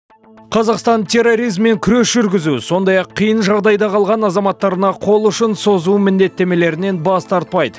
қазақстан терроризммен күрес жүргізу сондай ақ қиын жағдайда қалған азаматтарына қол ұшын созу міндеттемелерінен бас тартпайды